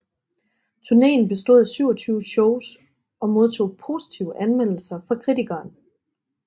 Turnéen bestod af 27 shows og modtog positive anmeldelser fra kritikerne